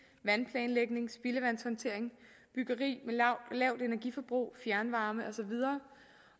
vandplanlægning spildevandshåndtering byggeri med lavt energiforbrug fjernvarme og så videre